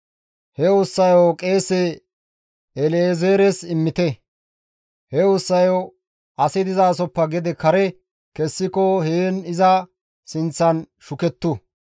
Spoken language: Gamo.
He ussayo qeese El7ezeeres immite; he ussayo asi dizasoppe gede kare kessiko heen iza sinththan shukettu.